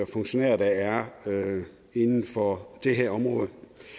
funktionærer der er inden for det her område